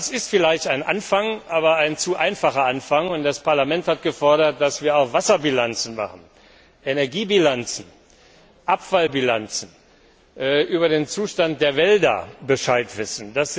Das ist vielleicht ein Anfang, aber ein zu einfacher Anfang, und das Parlament hat gefordert, dass wir auch Wasserbilanzen, Energiebilanzen, Abfallbilanzen erstellen, dass wir über den Zustand der Wälder Bescheid wissen.